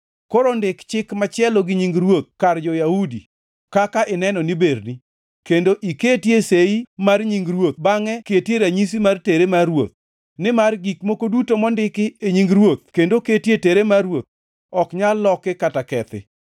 Koro ndik chik machielo gi nying ruoth kar jo-Yahudi kaka ineno ni berni, kendo iketie sei mar nying ruoth bangʼe ketie ranyisi mar tere mar ruoth, nimar gik moko duto mondiki e nying ruoth kendo oketie tere mar ruoth ok nyal loki kata kethi.